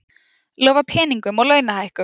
Lofa peningum og launahækkun